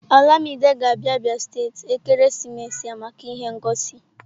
Olamide ga-abia Abia steeti ekeresimesi a maka ihe ngosi